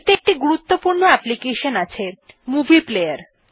এতে একটি গুরুত্বপূর্ণ অ্যাপ্লিকেশন আছে মুভি প্লেয়ার